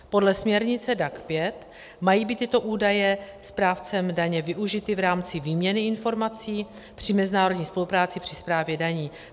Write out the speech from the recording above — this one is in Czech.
Podle směrnice DAC 5 mají být tyto údaje správcem daně využity v rámci výměny informací při mezinárodní spolupráci při správě daní.